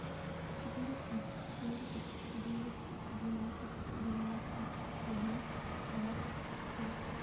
четыреста семьдесят девять двенадцать девяносто один двадцать шесть